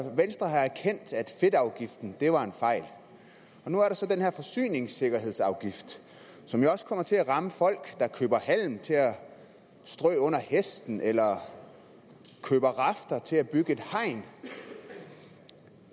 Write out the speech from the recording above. fedtafgiften var en fejl og nu er der så den her forsyningssikkerhedsafgift som jo også kommer til at ramme folk der køber halm til at strø under hesten eller køber rafter til at bygge et hegn